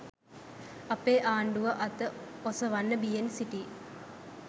අපේ ආණ්ඩුව අත ඔසවන්න බියෙන් සිටී